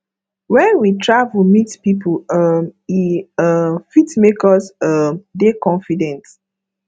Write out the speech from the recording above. when we travel meet pipo um e um fit make us um dey confident